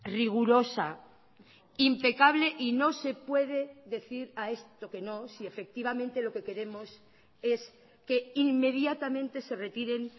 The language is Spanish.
rigurosa impecable y no se puede decir a esto que no si efectivamente lo que queremos es que inmediatamente se retiren